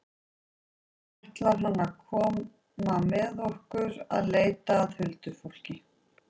Svo ætlar hann að koma með okkur að leita að huldufólki.